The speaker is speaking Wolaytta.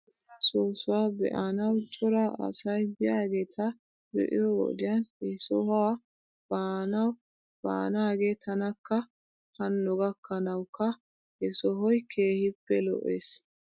Ajooraa soossuwaa be'anaw cora asy biyaageeta be'iyoo wodiyan he sohuwaa baanaaw baanaagee tanakka hanno gakkanawkka he sohoy keehippe lo'es .